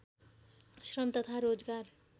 श्रम तथा रोजगार